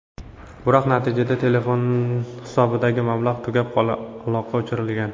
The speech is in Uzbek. Biroq natijada, telefon hisobidagi mablag‘ tugab, aloqa o‘chirilgan.